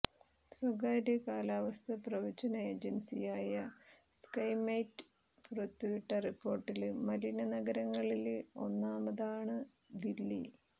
സ്വകാര്യ കാലാവസ്ഥാ പ്രവചന ഏജന്സിയായ സ്കൈമെറ്റ് പുറത്തുവിട്ട റിപ്പോര്ട്ടില് മലിന നഗരങ്ങളില് ഒന്നാമതാണ് ദില്ലി